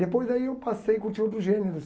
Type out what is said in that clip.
Depois aí eu passei a curtir outros gêneros.